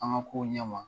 An ka kow ɲɛm